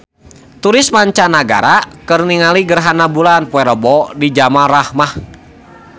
Turis mancanagara keur ningali gerhana bulan poe Rebo di Jabal Rahmah